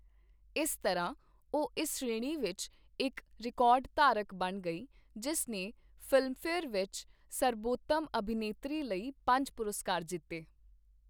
ਇਸ ਤਰ੍ਹਾਂ ਉਹ ਇਸ ਸ਼੍ਰੇਣੀ ਵਿੱਚ ਇੱਕ ਰਿਕਾਰਡ ਧਾਰਕ ਬਣ ਗਈ, ਜਿਸ ਨੇ ਫ਼ਿਲਮਫੇਅਰ ਵਿੱਚ ਸਰਬੋਤਮ ਅਭਿਨੇਤਰੀ ਲਈ ਪੰਜ ਪੁਰਸਕਾਰ ਜਿੱਤੇ।